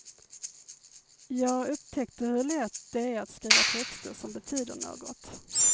Jag upptäckte hur lätt det är att skriva texter som betyder något.